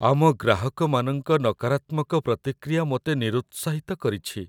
ଆମ ଗ୍ରାହକମାନଙ୍କ ନକାରାତ୍ମକ ପ୍ରତିକ୍ରିୟା ମୋତେ ନିରୁତ୍ସାହିତ କରିଛି।